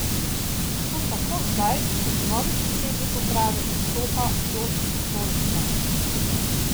To tako zdaj kot novi predsednik uprave zastopa Jošt Dolničar.